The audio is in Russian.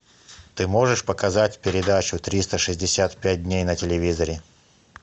ты можешь показать передачу триста шестьдесят пять дней на телевизоре